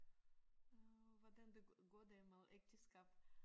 Og hvordan det går det med ægteskab?